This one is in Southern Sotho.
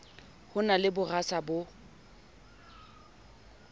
ho na le bosara bo